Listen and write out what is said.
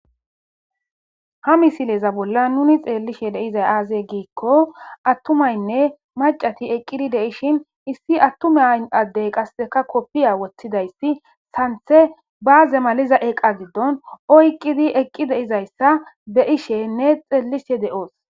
ha misileza bolla nuni xeellishe deizay aaze giikko attumaynne macati eqqidi deishin issi attume addey qasseka koppiya woththidayssi santhe baaze maliza eqa giddon oyqqidi eqqi deizayssa be ishenne besishe de7oos